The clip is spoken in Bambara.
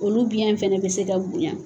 Olu biyan fɛnɛ bɛ se ka bonya.